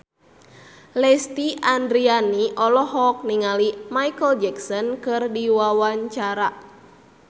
Lesti Andryani olohok ningali Micheal Jackson keur diwawancara